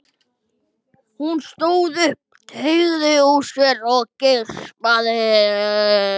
Hún stóð upp, teygði úr sér og geispaði.